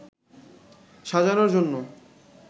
সাজানোর জন্য